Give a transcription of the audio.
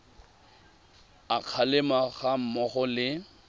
a kgalemo ga mmogo le